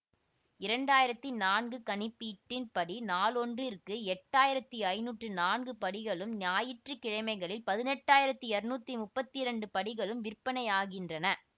இரண்டு ஆயிரத்தி நான்கு கணிப்பீட்டின் படி நாளொன்றிற்கு எட்டு ஆயிரத்தி ஐநூற்றி நான்கு படிகளும் ஞாயிற்று கிழமைகளில் பதினெட்டு ஆயிரத்தி இருநூற்றி முப்பத்தி இரண்டு படிகளும் விற்பனையாகின்றன